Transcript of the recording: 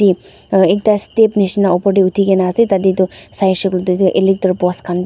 aro ekta step nishina opor tae uthikena ase tatae toh saishey koilae toh electric post khan.